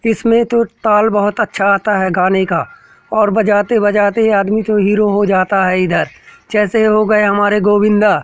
इसमें तो ताल बहुत अच्छा आता हैं गाने का और बजाते-बजाते आदमी जो हीरो हो जाता हैं इधर जैसे हो गए हमारे गोविंदा ।